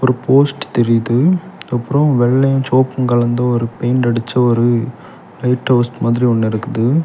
Post தெரியுது அப்றோ வெள்ளையு சோவப்பு கலந்த ஒரு பெயிண்ட் அடிச்ச ஒரு லைட் ஹவுஸ் மாதிரி ஒன்னு இருக்குது.